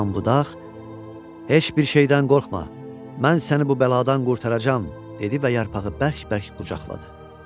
Bu zaman budaq: "Heç bir şeydən qorxma, mən səni bu bəladan qurtaracağam" dedi və yarpağı bərk-bərk qucaqladı.